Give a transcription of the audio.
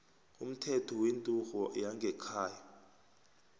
umthetho wenturhu yangekhaya